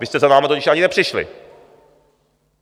Vy jste za námi totiž ani nepřišli.